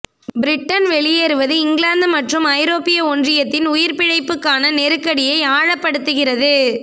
Britain வெளியேறுவது England மற்றும் ஐரோப்பிய ஒன்றியத்தின் உயிர்பிழைப்புக்கான நெருக்கடியை ஆழப்படுத்துகிறது